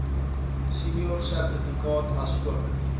senior sertifikaat asook